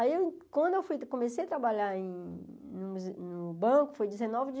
Aí, quando eu comecei a trabalhar em em em banco, foi dezenove de